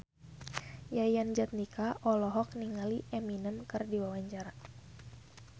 Yayan Jatnika olohok ningali Eminem keur diwawancara